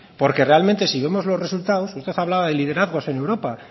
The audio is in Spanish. porque realmente si vemos los resultados usted hablaba de liderazgos sobre europa